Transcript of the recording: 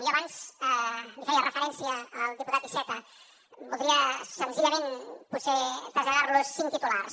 jo abans li feia referència al diputat iceta voldria senzillament potser traslladar los cinc titulars